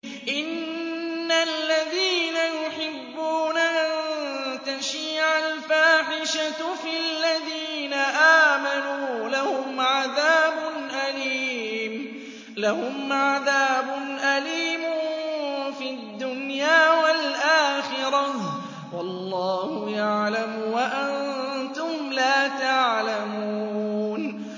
إِنَّ الَّذِينَ يُحِبُّونَ أَن تَشِيعَ الْفَاحِشَةُ فِي الَّذِينَ آمَنُوا لَهُمْ عَذَابٌ أَلِيمٌ فِي الدُّنْيَا وَالْآخِرَةِ ۚ وَاللَّهُ يَعْلَمُ وَأَنتُمْ لَا تَعْلَمُونَ